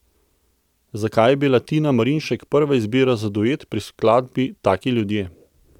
Zakaj je bila Tina Marinšek prava izbira za duet pri skladbi Taki ljudje?